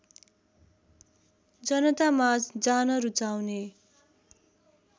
जनतामाझ जान रुचाउने